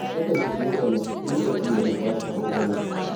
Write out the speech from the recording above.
Nakan tuhumi kaina duk lokacin da na ɓata wa wani.